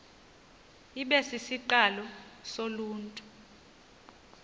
ibe sisiqalo soluntu